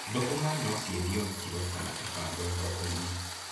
Thũkũma no ciendio na kiro kana ibango thoko-inĩ.